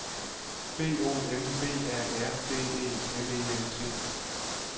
B O M B A R D E M E N T